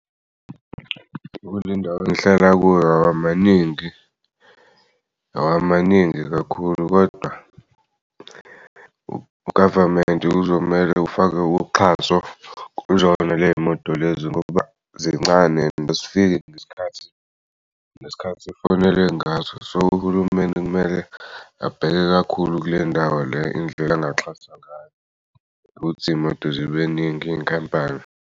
Kule ndawo engihlala kuyo awamaningi, awamaningi kakhulu kodwa ugavamenti kuzomele ufakwe uxhaso kuzona ley'moto lezi ngoba zincane lo and azifiki ngesikhathi nesikhathi efonelwe ngaso. So uhulumeni kumele abheke kakhulu kule ndawo le indlela angaxhasa ngayo ukuthi iy'moto zibeningi iy'nkampani.